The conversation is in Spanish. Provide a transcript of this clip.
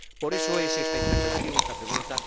De ahí esta interpelación, esta pregunta.